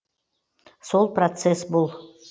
сол процесс бұл